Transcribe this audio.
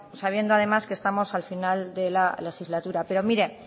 sabiendo además que estamos al final de la legislatura pero mire